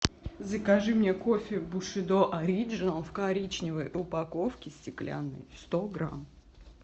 закажи мне кофе бушидо ориджинал в коричневой упаковке стеклянной сто грамм